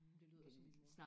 det lyder som min mor